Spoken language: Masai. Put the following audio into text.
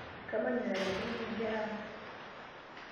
Kamanya enelakuaniki nkera ang'.